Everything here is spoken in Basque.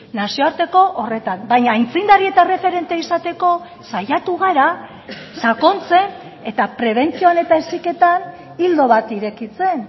nazioarteko horretan baina aitzindari eta erreferente izateko saiatu gara sakontzen eta prebentzioan eta heziketan ildo bat irekitzen